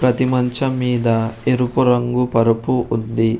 అతి మంచం మీద ఎరుపు రంగు పరుపు ఉంది.